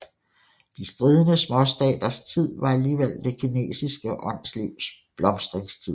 De stridende småstaters tid var alligevel det kinesiske åndslivs blomstringstid